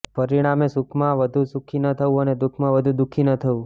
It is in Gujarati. પરિણામે સુખમાં વધુ સુખી ન થવું અને દુઃખમાં વધુ દુઃખી ન થવું